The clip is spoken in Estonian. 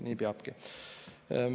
Nii peabki.